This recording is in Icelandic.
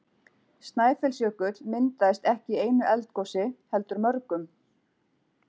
Snæfellsjökull myndaðist ekki í einu eldgosi heldur mörgum.